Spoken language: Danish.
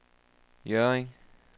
Hjørring